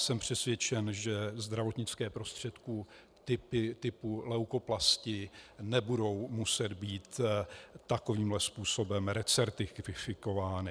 Jsem přesvědčen, že zdravotnické prostředky typu leukoplasti nebudou muset být takovýmhle způsobem recertifikovány.